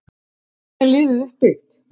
Hvernig er liðið uppbyggt?